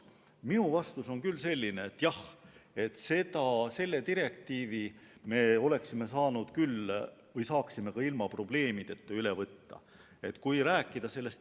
Minu vastus on, et jah, selle direktiivi me saaksime ka ilma probleemideta üle võtta.